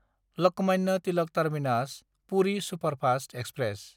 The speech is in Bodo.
Lokmanya Tilak टार्मिनास–पुरि superfast express